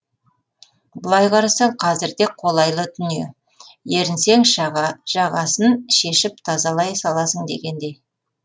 былай қарасаң қазірде қолайлы дүние ерінсең жағасын шешіп тазалай саласың дегендей